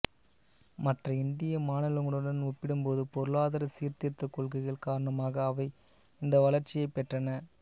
மற்ற இந்திய மாநிலங்களுடன் ஒப்பிடும்போது பொருளாதார சீர்திருத்தக் கொள்கைகள் காரணமாக அவை இந்த வளர்ச்சியை பெற்றன